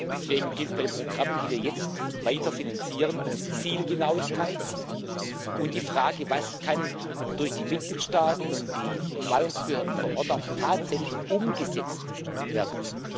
Deswegen geht es bei den Programmen, die wir jetzt weiterfinanzieren, um Zielgenauigkeit und um die Frage Was kann durch die Mitgliedstaaten und die Verwaltungsbehörden vor Ort auch tatsächlich umgesetzt werden?